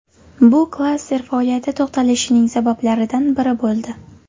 Bu klaster faoliyati to‘xtatilishining sabablaridan biri bo‘ldi.